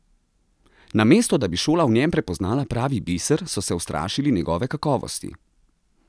Namesto da bi šola v njem prepoznala pravi biser, so se ustrašili njegove kakovosti!